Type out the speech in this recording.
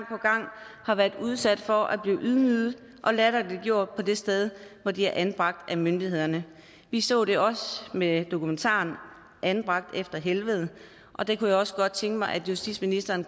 har været udsat for at blive ydmyget og latterliggjort på det sted hvor de er anbragt af myndighederne vi så det også med dokumentaren anbragt i helvede og det kunne jeg også godt tænke mig at justitsministeren